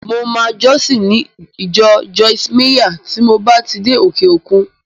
Mo máa jọ́sìn ní ìjọ Joyce Meyer tí mo bá ti dé òkè-òkun